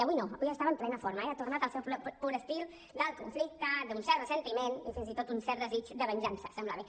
avui no avui estava en plena forma eh ha tornat al seu pur estil del conflicte d’un cert ressentiment i fins i tot un cert desig de venjança semblava